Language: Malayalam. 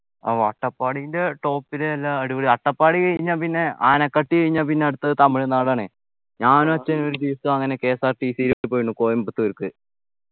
ഓ അട്ടപ്പാടിൻ്റെ top ലെ നല്ല അടിപൊളി അട്ടപ്പാടി കഴിഞ്ഞാ പിന്നെ ആനക്കട്ടി കഴിഞ്ഞാ പിന്നെ അടുത്തത് തമിഴ്‌നാടാണേ ഞാനും അച്ഛനും ഒരു ദിവസം അങ്ങനെ KSRTCbus ൽ പോയിട്ടുണ്ട് കോയമ്പത്തൂർക്ക്